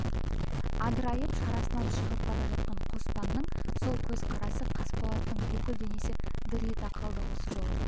адырайып шарасынан шығып бара жатқан қоспанның сол көзқарасы қасболаттың бүкіл денесі дір ете қалды сол жолы